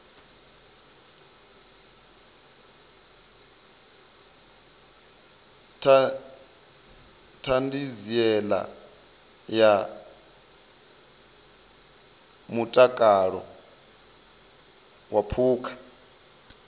ṱhanziela ya mutakalo wa phukha